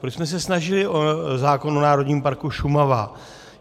Proč jsme se snažili o zákon o Národním parku Šumava?